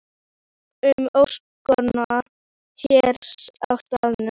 Ég sé um öskuna hér á staðnum.